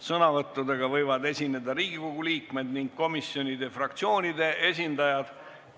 Sõnavõttudega võivad esineda Riigikogu liikmed ning komisjonide ja fraktsioonide esindajad.